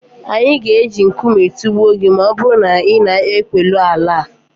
anyị ga-eji nkume tụgbuo gị ma ọ bụrụ na ị na-ekwulu Alla